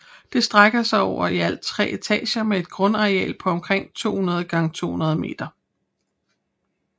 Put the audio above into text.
Det strækker sig over i alt tre etager med et grundareal på omkring 200x200 meter